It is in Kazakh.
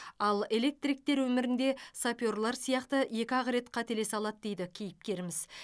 ал электриктер өмірінде саперлер сияқты екі ақ рет қателесе алады дейді кейіпкеріміз